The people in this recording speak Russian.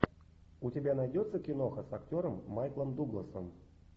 у тебя найдется киноха с актером майклом дугласом